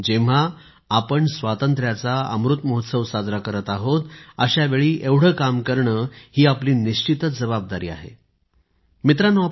जेव्हा आपण स्वातंत्र्याचा अमृत महोत्सव साजरा करत आहोत अशावेळी एवढे काम करणे आपली निश्चितच जबाबदारी आहे मित्रांनो